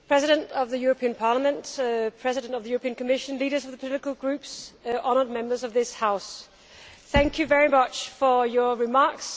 Mr President of the European Parliament, Mr President of the European Commission, leaders of the political groups, Honourable Members of this House, thank you very much for your remarks.